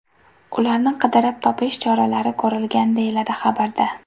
Ularni qidirib topish choralari ko‘rilgan deyiladi xabarda.